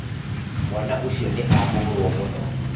Mwana ucio ni ahũrwo mũno